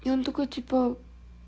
и он такой типа